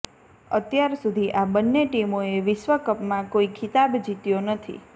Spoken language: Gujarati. અત્યાર સુધી આ બંન્ને ટીમોએ વિશ્વકપમાં કોઈ ખિતાબ જીત્યો નથી